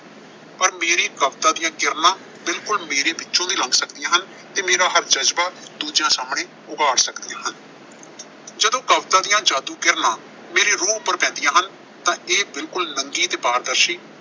ਪਰ ਮੇਰੀ ਕਵਿਤਾ ਦੀਆਂ ਕਿਰਨਾਂ ਬਿਲਕੁਲ ਮੇਰੇ ਵਿੱਚੋਂ ਦੀ ਲੰਘ ਸਕਦੀਆਂ ਹਨ ਤੇ ਮੇਰਾ ਹਰ ਜਜ਼ਬਾ ਦੂਜਿਆਂ ਸਾਹਮਣੇ ਉਘਾੜ ਸਕਦੀਆਂ ਹਨ। ਜਦੋਂ ਕਵਿਤਾ ਦੀਆਂ ਜਾਦੂ ਕਿਰਨਾਂ ਮੇਰੀ ਰੂਹ ਉੱਪਰ ਪੈਂਦੀਆਂ ਹਨ ਤਾਂ ਇਹ ਬਿਲਕੁਲ ਰੰਗੀ ਤੇ ਪਾਰਦਰਸ਼ੀ